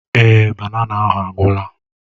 Èé, banana ahụ agwụla.